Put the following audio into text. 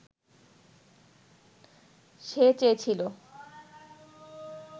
সে চেয়েছিল